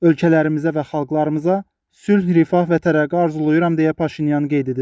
Ölkələrimizə və xalqlarımıza sülh, rifah və tərəqqi arzulayıram deyə Paşinyan qeyd edib.